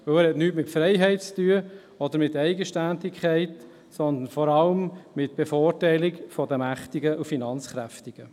Denn er hat nichts mit Freiheit oder Eigenständigkeit zu tun, sondern vor allem mit der Bevorteilung der Mächtigen und Finanzkräftigen.